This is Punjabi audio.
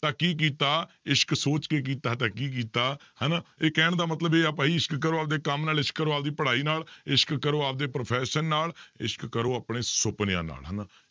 ਤਾਂਂ ਕੀ ਕੀਤਾ ਇਸ਼ਕ ਸੋਚ ਕੇ ਕੀਤਾ ਤਾਂ ਕੀ ਕੀਤਾ, ਹਨਾ ਇਹ ਕਹਿਣ ਦਾ ਮਤਲਬ ਇਹ ਆ ਭਾਈ ਇਸ਼ਕ ਕਰੋ ਆਪਦੇ ਕੰਮ ਨਾਲ ਇਸ਼ਕ ਕਰੋ ਆਪਦੀ ਪੜ੍ਹਾਈ ਨਾਲ ਇਸ਼ਕ ਕਰੋ ਆਪਦੇ profession ਨਾਲ ਇਸ਼ਕ ਕਰੋ ਆਪਣੇ ਸੁਪਨਿਆਂ ਨਾਲ ਹਨਾ।